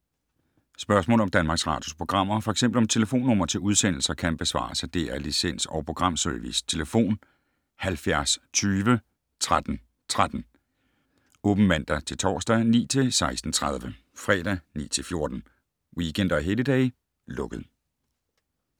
Spørgsmål om Danmarks Radios programmer, f.eks. om telefonnumre til udsendelser, kan besvares af DR Licens- og Programservice: tlf. 70 20 13 13, åbent mandag-torsdag 9.00-16.30, fredag 9.00-14.00, weekender og helligdage: lukket.